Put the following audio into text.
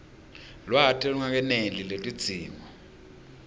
lwati lolungakeneli lwetidzingo